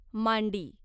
मांडी